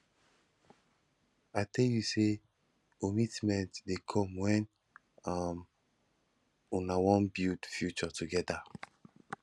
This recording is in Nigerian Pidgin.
i tell you sey ommitment dey come wen um una wan build future togeda